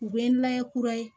U bɛ n'an ye kura ye